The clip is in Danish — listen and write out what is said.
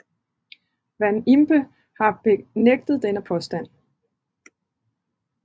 Van Impe har benægtet denne påstand